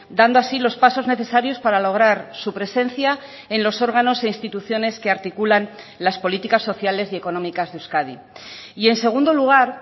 dando así los pasos necesarios para lograr su presencia en los órganos e instituciones que articulan las políticas sociales y económicas de euskadi y en segundo lugar